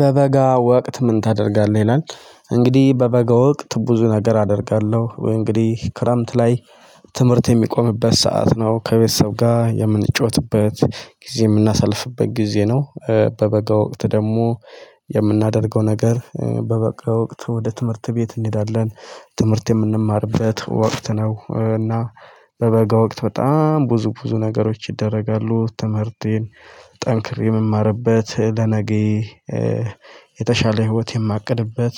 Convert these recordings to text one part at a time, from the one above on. በበጋ ወቅት ምን ታደርጋለህ? ይላል እንግዲህ በበጋ ወቅት ብዙ ነገር አደርጋለሁ። ወይ እንግዲህ ክረምት ላይ ትምህርት የሚቆምበት ሰዓት ነው ከቤተሰብ ጋር የምንጫወትበት ጊዜ የምናሳልፍበት ጊዜ ነው። በበጋ ወቅት ደግሞ የምናደርገው ነገር በበጋ ወቅት ወደ ትምህርት ቤት እንሄዳለን። ትምህርት የምንማርበት ወቅት ነው። እና በበጋ ወቅት በጣም ብዙ ብዙ ነገሮች ይደረጋሉ። ትምህርቴን ጠንክሬ የምማርበት ለነገዬ የተሻለ ህይወት የማቅድበት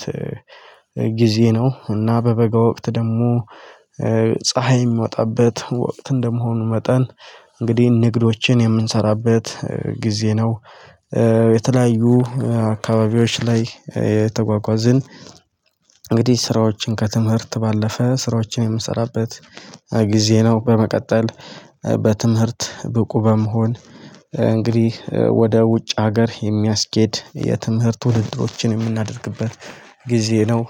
ጊዜ ነው። እና በበጋ ወቅት ደግሞ ፀሀይ የሚወጣበት ወቅት እንደመሆኑ መጠን እንግዲህ ንግዶችን የምንሰራበት ጊዜ ነው። የተለያዩ አካባቢዎች ላይ የተጓጓዝን እንግዲህ ስራዎችን ከትምህርት ባለፈ ስራዎችን የምሰራበት ጊዜ ነው። በመቀጠል በትምህርት ብቁ በመሆን እንግዲህ ወደ ውጭ ሀገር የሚያስኬድ የትምህርት ውድድሮችን የምናደርግበት ጊዜ ነው።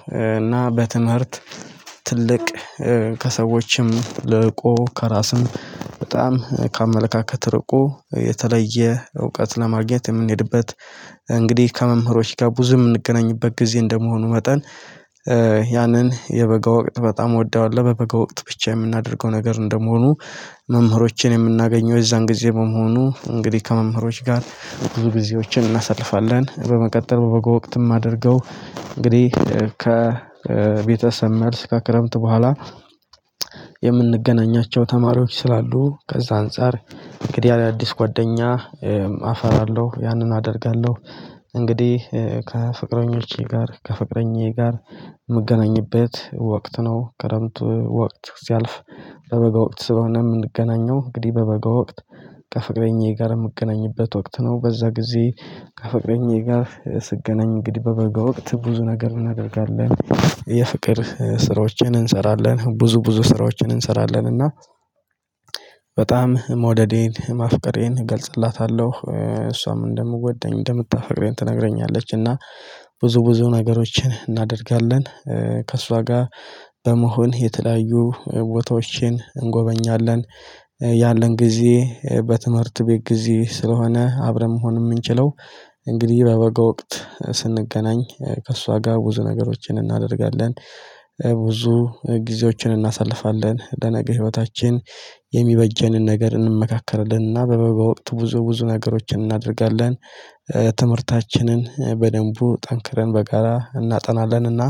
እና በትምህርት ትልቅ ከሰዎችም ልቆ ከራስም በጣም ከአመለካከት ርቆ የተለየ እውቀት ለማግኘት የምንሄድበት እንግዲህ ከመምህሮች ጋር ብዙ የምንገናኝበት ጊዜ እንደመሆኑ መጠን። ያንን የበጋ ወቅት በጣም ወደዋለወ። በበጋ ወቅት ብቻ የምናደርገው ነገር እንደመሆኑ መምህሮቼን የምናገኘው የዛን ጊዜ በመሆኑ እንግዲህ ከመምህሮች ጋር ብዙ ጊዜዎችን እናሳልፋለን። በመቀጠል በበጋ ወቅትም ማደርገው እንግዲህ ከቤተሰብ መልስ ከክረምት በኋላ የምንገናኛቸው ተማሪዎች ስላሉ ከዛ አንፃር እንግዲህ አዳዲስ ጓደኛ አፈራለሁ ያንን አደርጋለሁ። እንግዲህ ከፍቅረኞቼ ጋር ከፍቅረኛዬ ጋር የምገናኝበት ወቅት ነው። ክረምት ወቅት ሲያልፍ በበገ ወቅት ስለሆነ የምንገናኘው እንግዲህ በበጋ ወቅት ከፍቅረኛዬ ጋር የምገናኝበት ወቅት ነው። በዛ ጊዜ ከፍቅረኛዬ ጋር ስገናኝ እንግዲህ በበጋ ወቅት ብዙ ነገር እናደርጋለን። የፍቅር ስራዎችን እንሰራለን ብዙ ብዙ ስራዎችን እንሰራለን እና በጣም መውደዴን ማፍቀሬን እገልጽላታለሁ። እሷም እንደምወደኝ እንደምታፈቅረኝ ትነግረኛለች። እና ብዙ ብዙ ነገሮችን እናደርጋለን። ከእሷ ጋር በመሆን የተለያዩ ቦታዎችን እንጎበኛለን። ያለን ጊዜ በትምህርት ቤት ጊዜ ስለሆነ አብረን መሆን የምንችለው እንግዲህ በበጋ ወቅት ስንገናኝ ከእሷ ጋር ብዙ ነገሮችን እናደርጋለን። ብዙ ጊዜዎችን እናሳልፋለን ለነገ ህይወታችን የሚበጀንን ነገር እንመካከራለን። እና በበጋ ወቅት ብዙ ብዙ ነገሮችን እናደርጋለን። ትምህርታችንን በደንቡ ጠንክረን በጋራ እናጠናለንና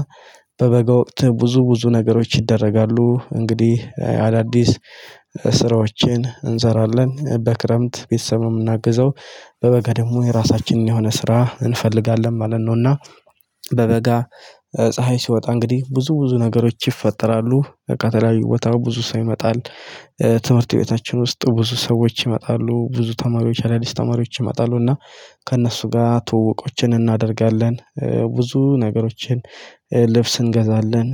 በበጋ ወቅት ብዙ ብዙ ነገሮች ይደረጋሉ። እንግዲህ አዳዲስ ስራዎችን እንሰራለን በክረምት ቤተሰብ ነው የምናግዘው በበጋ ደግሞ የራሳችንን የሆነ ስራ እንፈልጋለን ማለት ነውና። በበጋ ፀሀይ ሲወጣ እንግዲህ ብዙ ብዙ ነገሮች ይፈጠራሉ ከተለያዩ ቦታ ብዙ ሰው ይመጣል። ትምህርት ቤታችን ውስጥ ብዙ ሰዎች ይመጣሉ ብዙ ተማሪዎች አዳዲስ ተማሪዎች ይመጣሉና። ከእነርሱ ጋር ትውውቆችን እናደርጋለን። ብዙ ነገሮችን ልብስ እንገዛለን።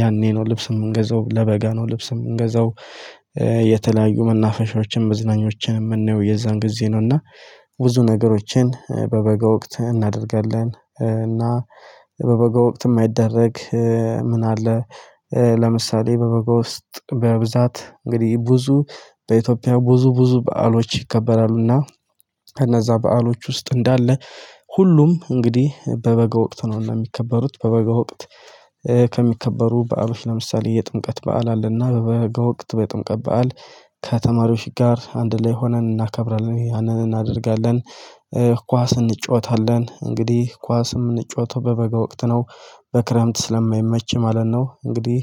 ያኔ ነው ልብስ የምንገዛው ለበጋ ነው ልብስ የምንገዛው። የተለያዩ መናፈሻዎችን መዝናኞችን የምናየው የዛን ጊዜ ነው። እና ብዙ ነገሮችን በበጋ ወቅት እናደርጋለን። እና በበጋ ወቅት የማይደረግ። ምን አለ? ለምሳሌ በበጋ ውስጥ በብዛት እንግዲህ ብዙ በኢትዮጵያ ብዙ ብዙ በዓሎች ይከበራሉና። ከነዛ በዓሎች ውስጥ እንዳለ ሁሉም እንግዲህ በበጋ ወቅት ነውና የሚከበሩት በበጋ ወቅት። ከሚከበሩ በአብሽ ለምሳሌ የጥምቀት በዓል አለና በበጋ ወቅት በጥምቀት በዓል ከተማሪዎች ጋር አንድ ላይ ሆነን እናከብራለን ያንን እናደርጋለን። ኳስ እንጫወታለን እንግዲህ ኳስ የምንጫወተው በበጋ ወቅት ነው። በክረምት ስለማይመች ማለት ነው። እንግዲህ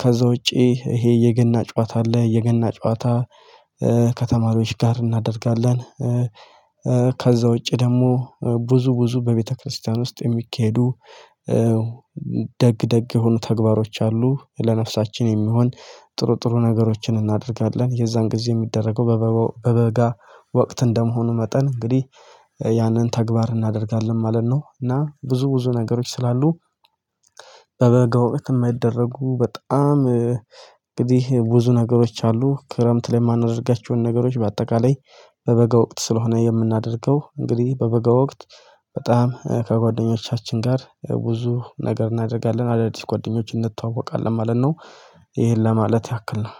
ከዛ ውጪ ይሄ የገና ጨዋታ አለ። የገና ጨዋታ ከተማሪዎች ጋር እናደርጋለን። ከዛ ውጪ ደግሞ ብዙ ብዙ በቤተክርስቲያን ውስጥ የሚካሄዱ ደግ ደግ የሆኑ ተግባሮች አሉ። ለነፍሳችን የሚሆን ጥርጥሩ ነገሮችን እናደርጋለን። የዛን ጊዜ የሚደረገው በበጋ ወቅት እንደመሆኑ መጠን እንግዲህ ያንን ተግባር እናደርጋለን ማለት ነው። እና ብዙ ብዙ ነገሮች ስላሉ በበጋው ወቅት የማይደረጉ በጣም እንግዲህ ብዙ ነገሮች አሉ። ክረምት ላይ የማናደርጋቸውን ነገሮች በአጠቃላይ በበጋ ወቅት ስለሆነ የምናደርገው እንግዲህ በበጋ ወቅት በጣም ከጓደኞቻችን ጋር ብዙ ነገር እናደርጋለን አዳዲስ ጎደኞችን እንተዋወቃለን ማለት ነው። ይሄን ለማለት ያክል ነው።